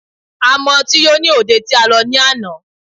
A mu ọtí yó ní òde tí a lọ ní àná.